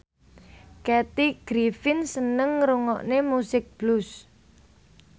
Kathy Griffin seneng ngrungokne musik blues